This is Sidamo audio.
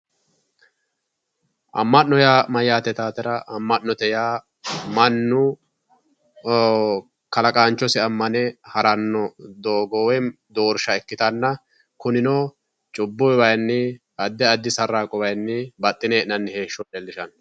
amma'no yaa mayyaate yitawootera amma'note yaa mannu kalaqaanchosi ammane haranno doogo woy doorsha ikkitanna cubbu wayiinni addi addi sarraaqote wayiinni baxxine hee'nannita leelishanno